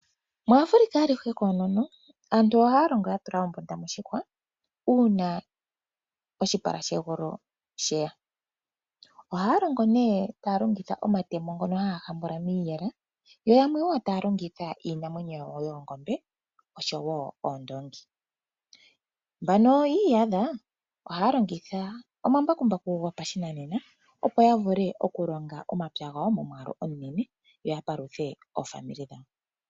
Muafrica alihe koonono, aantu ohaa longo yatula ombunda moshihwa uuna oshipala shegulu sheya. Ohaa longo nee taa longitha omatemo ngono haa hambula yo yamwe taa longitha iinamwenyo ngaashi, oondoongi Mbano yi iyadha ohaa longitha omambakumbaku opo ya longithe omapya gawo.